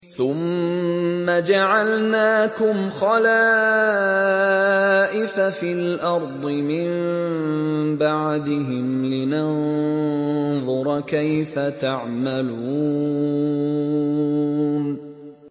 ثُمَّ جَعَلْنَاكُمْ خَلَائِفَ فِي الْأَرْضِ مِن بَعْدِهِمْ لِنَنظُرَ كَيْفَ تَعْمَلُونَ